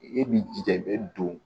E b'i jija i bɛ don